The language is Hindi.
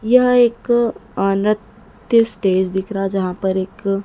यह एक आ निर्त्य स्टेज दिख रहा जहां पर एक--